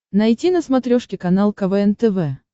найти на смотрешке канал квн тв